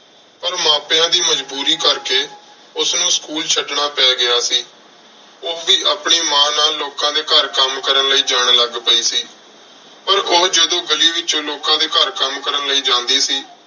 ਪਰ ਮਾਪਿਆਂ ਦੀ ਮਜ਼ਬੂਰੀ ਕਰਕੇ ਉਸਨੂੰ school ਛੱਡਣਾ ਪੈ ਗਿਆ ਸੀ। ਉਹ ਵੀ ਆਪਣੀ ਮਾਂ ਨਾਲ ਲੋਕਾਂ ਦੇ ਘਰ ਕੰਮ ਕਰਨ ਲਈ ਜਾਣ ਲੱਗ ਪਈ ਸੀ। ਪਰ ਉਹ ਜਦੋਂ ਗਲੀ ਵਿੱਚੋਂ ਲੋਕਾਂ ਦੇ ਘਰ ਕੰਮ ਕਰਨ ਲਈ ਜਾਂਦੀ ਸੀ